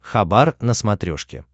хабар на смотрешке